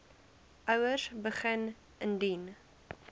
ouers begin indien